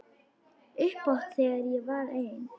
Upphátt þegar ég var ein.